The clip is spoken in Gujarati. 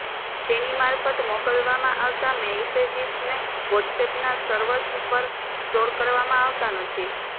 તેની મારફત મોકલવામાં આવતા મૅસેજિસને વોટ્સએપના સર્વર્સ પર સ્ટોર કરવામાં આવતા નથી